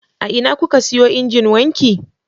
A ina kuka siyo injin wanki?